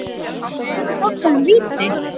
Fannst Thelmu þetta vera víti?